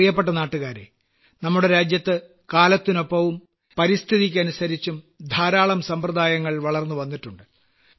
എന്റെ പ്രിയപ്പെട്ട നാട്ടുകാരേ നമ്മുടെ രാജ്യത്ത് കാലത്തിനൊപ്പവും പരിസ്ഥിതികൾക്കനുസരിച്ചും ധാരാളം സമ്പ്രദായങ്ങൾ വളർന്നുവന്നിട്ടുണ്ട്